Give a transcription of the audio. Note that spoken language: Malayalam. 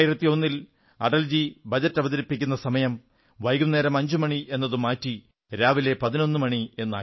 2001 ൽ അടൽജി ബജറ്റ് അവതരിപ്പിക്കുന്ന സമയം വൈകുന്നേരം 5 മണി എന്നതു മാറ്റി രാവിലെ 11 മണി എന്നാക്കി